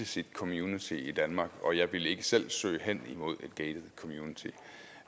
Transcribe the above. sit community i danmark og jeg ville ikke selv søge hen mod